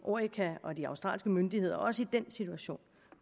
orica og de australske myndigheder også i den situation